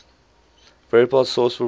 verifiable source proving